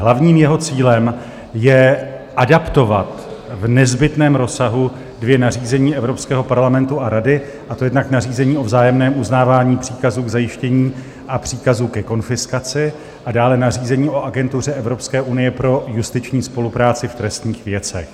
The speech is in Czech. Hlavním jeho cílem je adaptovat v nezbytném rozsahu dvě nařízení Evropského parlamentu a Rady, a to jednak nařízení o vzájemném uznávání příkazů k zajištění a příkazu ke konfiskaci a dále nařízení o Agentuře Evropské unie pro justiční spolupráci v trestních věcech.